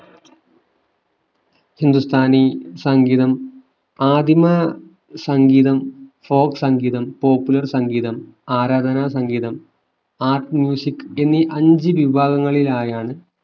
ഹിന്ദുസ്ഥാനി സംഗീതം ആദിമ സംഗീതം folk സംഗീതം popular സംഗീതം ആരാധന സംഗീതം art എന്നീ അഞ്ചു വിഭാഗങ്ങളിലായാണ്